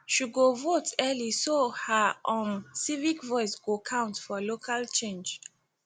she go vote early so her um civic voice go count for local change